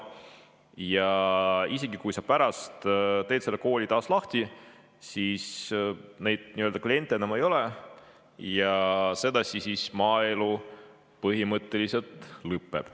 Ja isegi kui sa pärast teed selle kooli taas lahti, siis neid nii-öelda kliente enam ei ole ja sedasi maaelu põhimõtteliselt lõpeb.